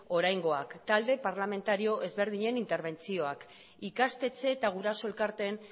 oraingoak talde parlamentario ezberdinen interbentzioak ikastetxe eta guraso elkarteen